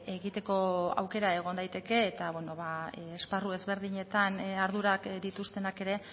egiteko aukera egon daiteke eta esparru ezberdinetan ardurak dituztenak ere